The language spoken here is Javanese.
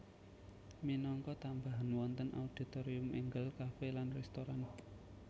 Minangka tambahan wonten auditorium énggal kafe lan restoran